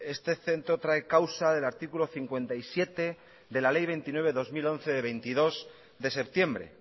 este centro trae causa del artículo cincuenta y siete de la ley veintinueve barra dos mil once el veintidós de septiembre